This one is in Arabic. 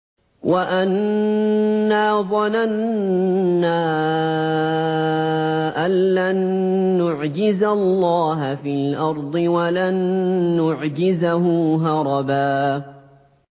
وَأَنَّا ظَنَنَّا أَن لَّن نُّعْجِزَ اللَّهَ فِي الْأَرْضِ وَلَن نُّعْجِزَهُ هَرَبًا